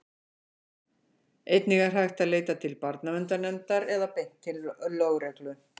einnig er hægt að leita til barnaverndarnefndar eða beint til lögreglu